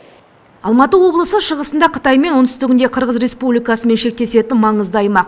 алматы облысы шығысында қытаймен оңтүстігінде қырғыз республикасымен шектесетін маңызды аймақ